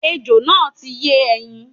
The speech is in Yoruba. Ejò náà ti yé ẹyin